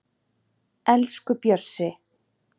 Elsku Bjössi